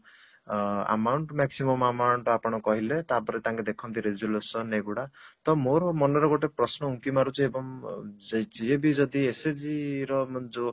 ଆ amount maximum amount ଆପଣ କହିଲେ ତାପରେ ତାଙ୍କେ ଦେଖନ୍ତି resolution ଏଗୁଡା ତ ମୋର ମନରେ ଗୋଟେ ପ୍ରଶ୍ନ ଉଙ୍କି ମାରୁଛି ଏବଂ ସେ ଯିଏ ବି ଯଦି SHG ର ଯଉ